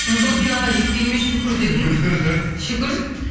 мхм сол финалға жеткеніме шүкір дедім шүкір